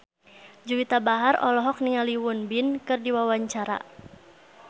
Juwita Bahar olohok ningali Won Bin keur diwawancara